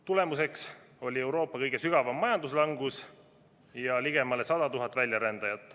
Tagajärg oli Euroopa kõige sügavam majanduslangus ja ligemale 100 000 väljarändajat.